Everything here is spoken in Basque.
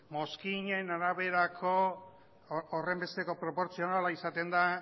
mozkinen araberako horrenbesteko proportzionala izaten da